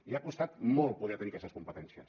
i ha costat molt poder tenir aquestes competències